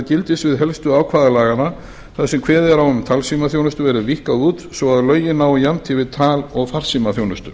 gildissvið helstu ákvæða laganna þar sem kveðið er á um talsímaþjónustu verði víkkað út svo að lögin nái jafnt yfir tal og farsímaþjónustu